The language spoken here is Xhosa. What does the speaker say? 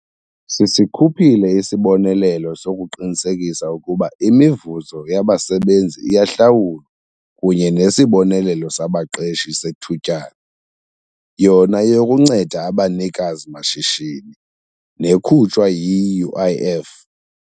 Sisikhuphile isibonelelo sokuqinisekisa ukuba imivuzo yabasebenzi iyahlawulwa kunye neSibonelelo Sabaqeshi Sethutyana, yona yokunceda abanikazi-mashishini, nekhutshwa yi-UIF.